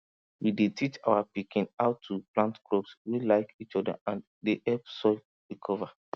we dey teach our pikin how to plant crops wey like each other and dey help soil recover